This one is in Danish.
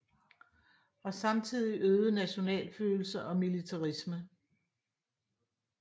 Og samtidig øget nationalfølelse og militarisme